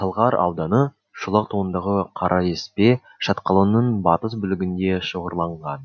талғар ауданы шолақ тауындағы қараеспе шатқалының батыс бөлігінде шоғырланған